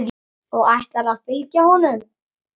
Og ætlarðu að fylgja honum?